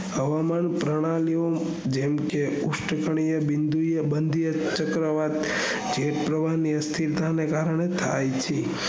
હવામાન પ્રણાલીઓ જેમકે ઉચ્ચ સ્થલીયો બંધીયા ચક્રવાત જે પ્રવાહ ની અસ્થિરતા ને કારણે થાય છે